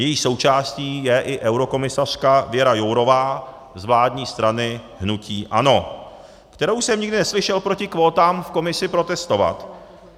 Její součástí je i eurokomisařka Věra Jourová z vládní strany hnutí ANO, kterou jsem nikdy neslyšel proti kvótám v Komisi protestovat.